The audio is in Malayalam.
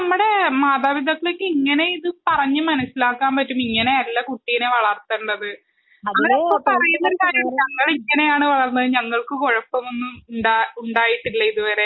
ആഹ് ഇത് നമ്മുടെ മാതാപിതാക്കളെ എങ്ങനെ പറഞ്ഞു മനസ്സിലാക്കും ഇങ്ങനെയല്ല കുട്ടികളെ വളർത്തേണ്ടത് . അവർ എപ്പോഴും പറയുന്ന ഒരു കാര്യമുണ്ട് ഞങ്ങൾ ഇങ്ങനെയാണ് വളർന്നത് ഞങ്ങൾക്ക് കുഴപ്പമൊന്നും ഉണ്ടായിട്ടില്ലല്ലോ ഇതുവരെ